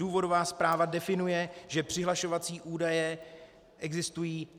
Důvodová zpráva definuje, že přihlašovací údaje existují.